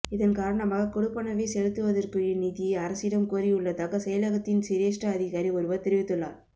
இதன் காரணமாக கொடுப்பனவை செலுத்துவதற்குரிய நிதியை அரசிடம் கோரியுள்ளதாக செயலகத்தின் சிரேஷ்ட அதிகாரி ஒருவர் தெரிவித்துள்ளார்